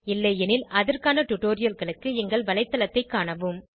இல்லையெனில் அதற்கான டுடோரியல்களுக்கு எங்கள் வலைத்தளத்தைக் காணவும்